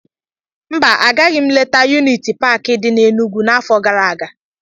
Mba, agaghị m letaa yuniti paakị dị n'Enugwu n'afọ gara aga.